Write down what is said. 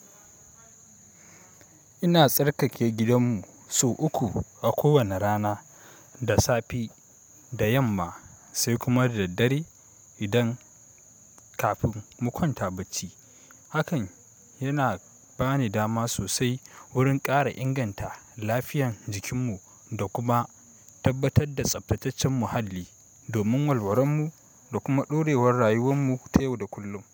Ina tsarkake gidanmu sau uku a kowane rana, da safe, da yamma sai kuma da daddare idan kafin mu kwanta bacci. Hakan yana bani dama sosai wurin ƙara inganta lafiyan jikinmu da kuma tabbatar da tsaftataccen muhalli domin walwaranmu da kuma ɗorewar rayuwanmu ta yau da kullum.